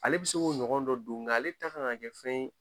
Ale bi se k'o ɲɔgɔn dɔ don nka ale ta kan ka kɛ fɛn ye